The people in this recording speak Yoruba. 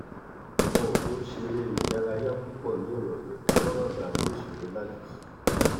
wọn ò kí n ṣeré ìdárayá púpọ nírọlẹ kí wọn má baà ní ìṣòro láti sùn